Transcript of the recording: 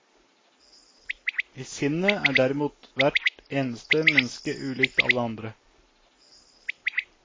I sinnet er derimot hvert eneste menneske ulikt alle andre.